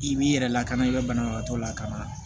I b'i yɛrɛ lakana i bɛ banabagatɔ lakana